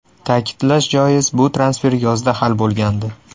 Ta’kidlash joiz, bu transfer yozda hal bo‘lgandi.